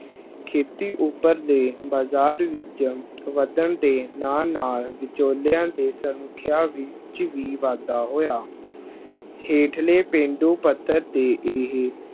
ਖੇਤੀ ਉੱਪਰਲੇ ਬਾਜ਼ਾਰ ਵਿੱਚ ਵਧਣ ਦੇ ਨਾਲ ਨਾਲ ਵਿਚੋਲਿਆਂ ਦੇ ਸੰਖਿਆ ਵਿੱਚ ਵੀ ਵਾਧਾ ਹੋਇਆ ਹੇਠਲੇ ਪੇਂਡੂ ਪੱਧਰ ਤੇ ਇਹ